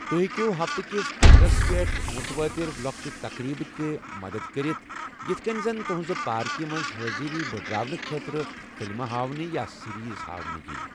توہہِ ہیكِیو ہفتہٕ كِس انَدس پیٹھ مٗروٲتِر لوكچہِ تقریبہٕ تہِ مٍٗدد كرِتھ ،یِتھہٕ كٕنہِ زن تٗہنزِ پاركہِ منز حٲضری بڈراونہٕ خٲطرٕ فِلمہٕ ہاونہِ یا سٕریزہاۄنہ ییِ